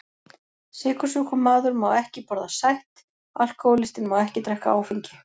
Sykursjúkur maður má ekki borða sætt, alkohólistinn má ekki drekka áfengi.